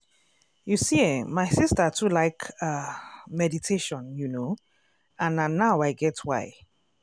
i dey try put this meditation first even when i dey um busy- e dey really help.